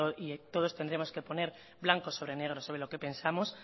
y todos tendríamos que poner blanco sobre negro sobre lo que pensamos